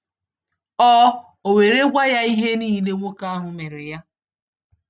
O O were gwa ya ihe niile nwoke ahụ mere ya.